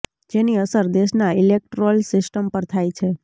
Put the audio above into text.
જેની અસર દેશના ઇલેક્ટોરલ સિસ્ટમ પર થાય છે